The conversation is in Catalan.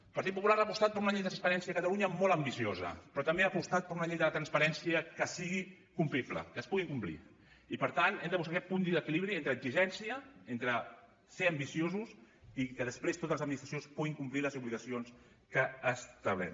el partit popular ha apostat per una llei de transparència a catalunya molt ambiciosa però també ha apostat per una llei de la transparència que sigui complible que es pugui complir i per tant hem de buscar aquest punt d’equilibri entre exigència entre ser ambiciosos i que després totes les administracions puguin complir les obligacions que ha establert